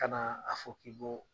Ka na a fɔ k'i bɔ